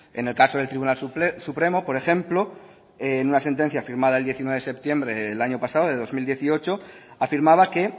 en el caso del tribunal supremo por ejemplo en una sentencia firmada el diecinueve de septiembre del año pasado de dos mil dieciocho afirmaba que